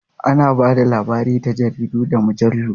Ana ba da labari ta jaridu da mujallu.